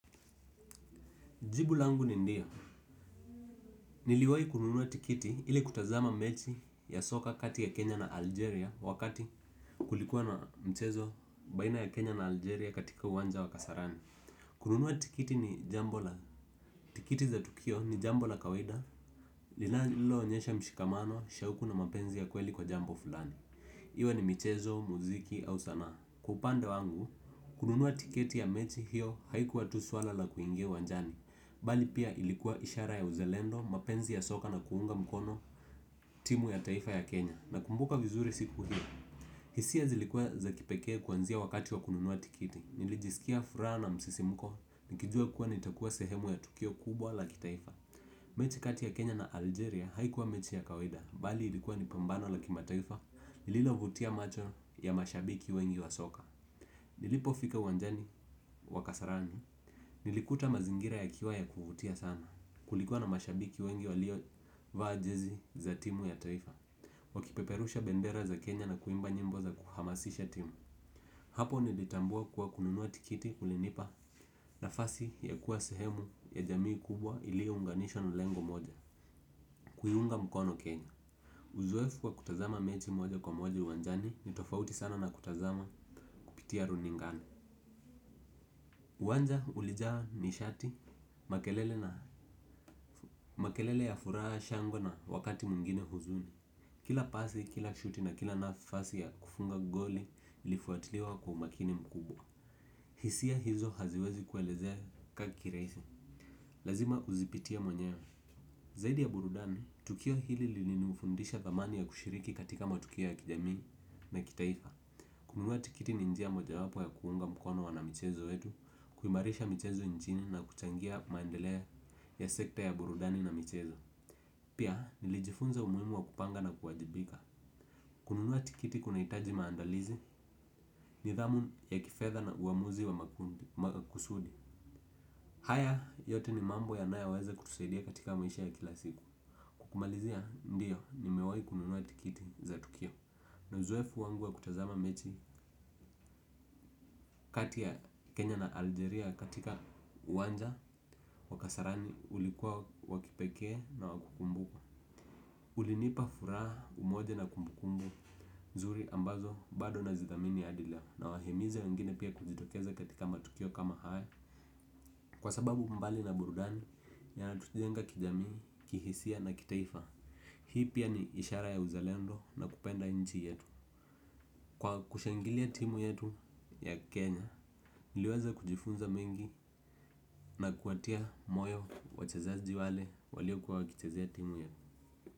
Jibu langu ni ndio. Niliwahi kununua tiketi ili kutazama mechi ya soka kati ya Kenya na Algeria wakati kulikuwa na mchezo baina ya Kenya na Algeria katika uwanja wa kasarani. Kununua tiketi ni jambo la tiketi za tukio ni jambo la kawaida linalo onyesha mshikamano, shauku na mapenzi ya kweli kwa jambo fulani. Iwe ni michezo muziki au sanaa. Kwaupande wangu, kununua tiketi ya mechi hiyo haikuwa tu suala la kuingia uwanjani. Bali pia ilikuwa ishara ya uzalendo, mapenzi ya soka na kuunga mkono timu ya taifa ya Kenya. Nakumbuka vizuri siku hii. Hisia zilikuwa za kipekee kuanzia wakati wa kununua tiketi. Nilijisikia furaha na msisimko, nikijua kuwa nitakuwa sehemu ya tukio kubwa la kitaifa. Mechi kati ya Kenya na Algeria haikuwa mechi ya kawaida. Bali ilikuwa nipambano la kimataifa, lililovutia macho ya mashabiki wengi wa soka. Nilipofika uwanjani, wakasarani nilikuta mazingira ya kiwa ya kuvutia sana. Kulikuwa na mashabiki wengi walio vaa jezi za timu ya taifa wakipeperusha bendera za Kenya na kuimba nyimbo za kuhamasisha timu. Hapo nilitambua kuwa kununua tiketi kulinipa nafasi ya kuwa sehemu ya jamii kubwa ilio unganishwa na lengo moja. Kuiunga mkono Kenya. Uzoefu kwa kutazama mechi moja kwa moja uwanjani nitofauti sana na kutazama kupitia runingani uwanja ulijaa nishati makelele na makelele ya furaha shangwe na wakati mwingine huzuni. Kila pasi, kila shuti na kila nafasi ya kufunga goli ilifuatiliwa kwa umakini mkubwa. Hisia hizo haziwezi kuelezeka kirahisi. Lazima uzipitie mwenyewe. Zaidi ya burudani, tukio hili lili nifundisha thamani ya kushiriki katika matukio ya kijamii na kitaifa kununua tiketi ni njia moja wapo ya kuunga mkono wanamichezo wetu kuimarisha michezo nchini na kuchangia mendeleo ya sekta ya burudani na michezo pia nilijifunza umuhimu wa kupanga na kuwajibika. Kununua tiketi kunahitaji maandalizi nidhamu ya kifedha na uamuzi wa makusudi. Haya yote ni mambo yanayoweza kutusaidia katika maisha ya kila siku. Kwakumalizia ndio nimewahi kununua tiketi za tukio. Na uzoefu wangu wa kutazama mechi kati ya Kenya na Algeria katika uwanja Wakasarani ulikuwa wakipekee na wakukumbukwa. Ulinipa furaha umoja na kumbukumbu. Nzuri ambazo bado nazithamini hadi leo na wahimiza wangine pia kujitokeza katika matukio kama haya. Kwasababu mbali na burudani yanatu jenga kijamii, kihisia na kitaifa. Hii pia ni ishara ya uzalendo na kupenda nchi yetu. Kwa kushangilia timu yetu ya Kenya, niliweza kujifunza mengi na kuwatia moyo wachezaji wale walio kuwa wakichazea timu yetu.